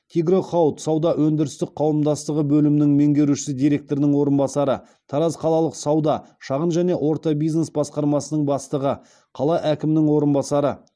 тигро хауд сауда өндірістік қауымдастығы бөлімінің меңгерушісі директорының орынбасары тараз қалалық сауда шағын және орта бизнес басқармасының бастығы қала әкімінің орынбасары